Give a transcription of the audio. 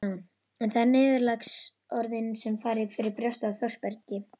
En það eru niðurlagsorðin sem fara fyrir brjóstið á Þórbergi